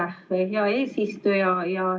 Aitäh, hea eesistuja!